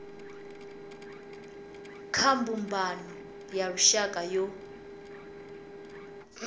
kha mbumbano ya lushaka yo